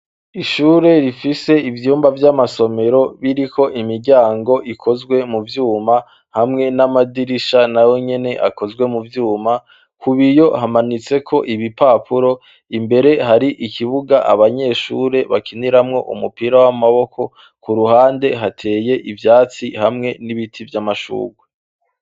Ishure rifise ivyumba vy'amasomero biriko imiryango ikozwe mu vyuma hamwe n'amadirisha na yo nyene akozwe mu vyuma ku b iyo hamanitseko ibi papuro imbere hari ikibuga abanyeshure bakiniramwo umupira w'amaboko ku ruhande hateye ivyatsi hamwe mwe n'ibiti vy'amashurwa.